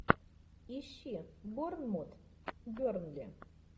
ищи борнмут бернли